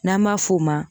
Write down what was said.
N'an b'a f'o ma